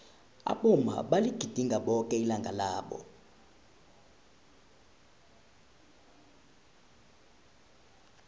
abomma baligidinga boke ilanga labo